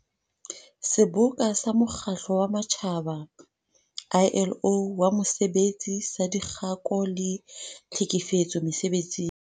Seboka sa Mokgatlo wa Matjhaba, ILO, wa Mosebetsi saDikgako le Tlhekefetso Mese-betsing.